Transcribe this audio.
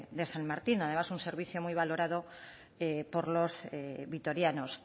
de san martin además un servicio muy valorado por los vitorianos